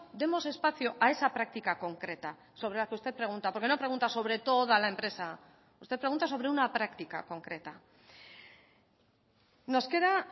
demos espacio a esa práctica concreta sobre la que usted pregunta por qué no pregunta sobre toda la empresa usted pregunta sobre una práctica concreta nos queda